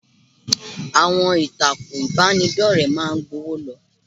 Àwọn ìtàkùn ìbánidọ́rẹ̀ẹ́ máa ń gbọ́nwó lọ.